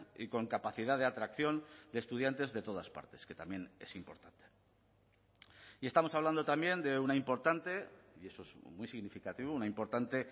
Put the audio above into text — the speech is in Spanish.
y con capacidad de atracción de estudiantes de todas partes que también es importante y estamos hablando también de una importante y eso es muy significativo una importante